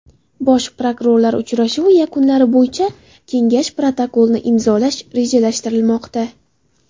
Bosh prokurorlar uchrashuvi yakunlari bo‘yicha Kengash protokolini imzolash rejalashtirilmoqda.